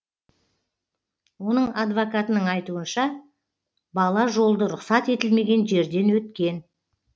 оның адвокатының айтуынша бала жолды рұқсат етілмеген жерден өткен